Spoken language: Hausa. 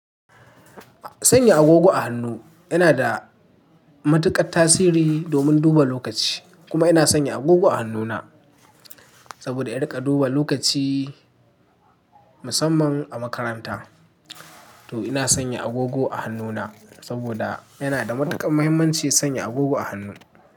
Sanya agogo a hannu yana da matuƙar tasiri domin duba lokaci kuma ina sanya agogo a hannuna saboda in riƙa duba lokaci musamman a makaranta. To ina sanya agogo a hannuna saboda yana da matuƙar muhimmanci sanya agogo a hannu.